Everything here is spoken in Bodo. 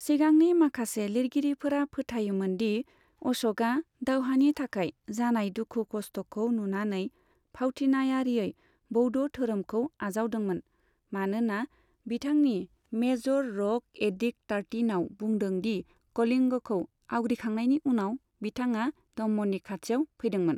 सिगांनि माखासे लिरगिरिफोरा फोथायोमोन दि अश'कआ दावहानि थाखाय जानाय दुखु खस्तखौ नुनानै भावथिनायारियै बौद्ध धोरोमखौ आजावदोंमोन, मानोना बिथांनि मेजर रक एडिक्ट टार्टिनआव बुंदों दि कलिंगखौ आवग्रिखांनायनि उनाव बिथाङा धम्मनि खाथियाव फैदोंमोन।